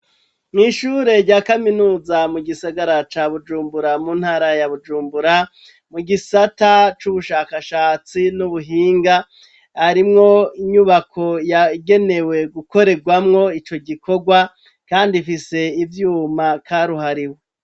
Mw'ishure rya kaminuza, mu gisagara ca Bujumbura, mu ntara ya Bujumbura, mu gisata c'ubushakashatsi n'ubuhinga, harimwo inyubako yagenewe gukorerwamwo ico gikorwa kandi ifise ivyuma karuhariwe.